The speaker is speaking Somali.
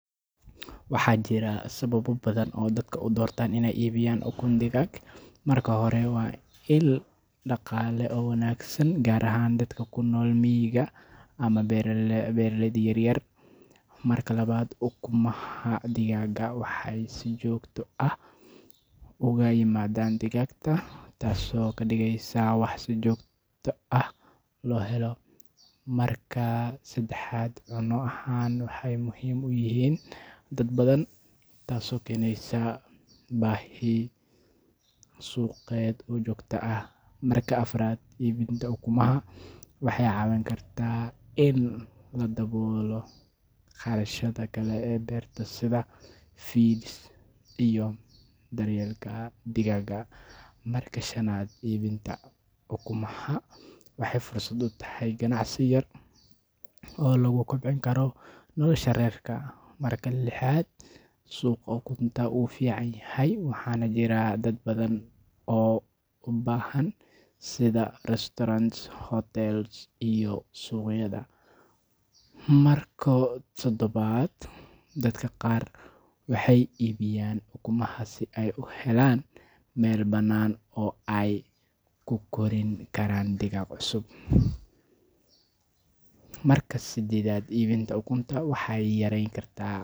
Waxaa jira sababo badan oo dadka u doortaan inay iibiyaan ukun digaag. Marka hore, waa il dhaqaale oo wanaagsan, gaar ahaan dadka ku nool miyiga ama beeralayda yaryar. Marka labaad, ukunaha digaagga waxay si joogto ah uga yimaadaan digaagta, taasoo ka dhigaysa wax si joogto ah loo helo. Marka saddexaad, cunno ahaan waxay muhiim u yihiin dad badan, taasoo keenaysa baahi suuqeed oo joogto ah. Marka afraad, iibinta ukunaha waxay caawin kartaa in la daboolo kharashaadka kale ee beerta sida feed iyo daryeelka digaagga. Marka shanaad, iibinta ukunaha waxay fursad u tahay ganacsi yar oo lagu kobcin karo nolosha reerka. Marka lixaad, suuqa ukunta wuu furan yahay waxaana jira dad badan oo u baahan, sida restaurants, hotels iyo suuqyada. Marka toddobaad, dadka qaar waxay iibiyaan ukunaha si ay u helaan meel banaan oo ay ku korin karaan digaag cusub. Marka sideedaad, iibinta ukunta waxay yareyn kartaa.